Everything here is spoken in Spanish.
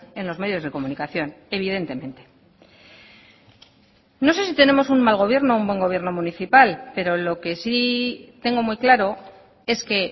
en los medios de comunicación evidentemente no sé si tenemos un mal gobierno o un buen gobierno municipal pero lo que sí tengo muy claro es que